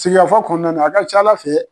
Sigikafɔ kɔnɔna a ka ca Ala fɛ